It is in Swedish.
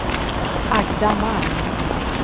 Agda Malm